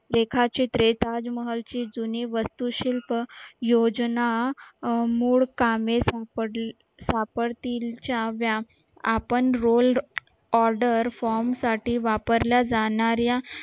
रेखाचित्रे ताजमहल ची जुनी वस्तू शिल्प योजना सापडतील च्या आपण rolled order form साठी वापरल्या जाणाऱ्या